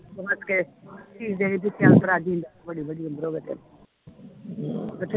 ਹਸ ਕੇ ਰਾਜ਼ੀ ਰਵੇ ਵਡੀ ਵਡੀ ਉਮਰ ਹੋਵੇ ਤੇਰੀ ਹਮ ਕਿਥੇ